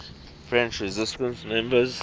french resistance members